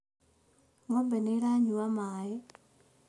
Ng'ombe nĩ ĩranyua maĩ